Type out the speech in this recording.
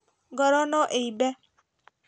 Ngoro no ĩimbe